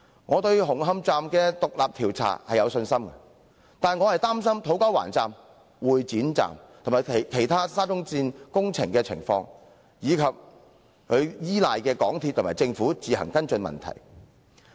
我對於紅磡站的獨立調查有信心。然而，我卻只是擔心土瓜灣站、會展站及沙中線其他工程的情況，以及依賴港鐵公司和政府自行跟進問題的做法。